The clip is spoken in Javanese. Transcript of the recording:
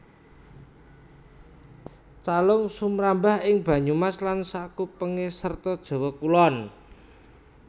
Calung sumrambah ing Banyumas lan sakupenge sarta Jawa Kulon